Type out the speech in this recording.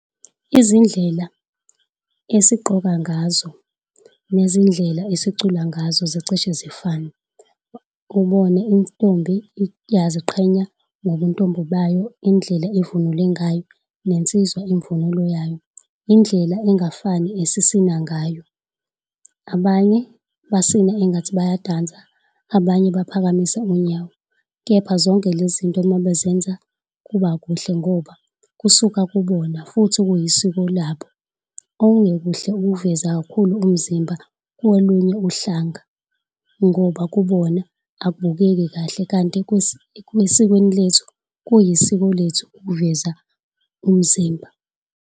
Izindlela esigqoka ngazo nezindlela esicula ngazo zicishe zifane. Ubone intombi iyaziqhenya ngobuntombi bayo, indlela evunule ngayo nensizwa imvunulo yayo indlela engafani esisina ngayo, abanye basina engathi bayadansa abanye baphakamisa unyawo. Kepha zonke lezinto uma bezenza, kuba kuhle ngoba kusuka kubona futhi kuyisiko labo okungekuhle ukuveza kakhulu umzimba kolunye uhlanga ngoba kubona akubukeki kahle kanti kwesikweni lethu kuyisiko lethu ukuveza umzimba.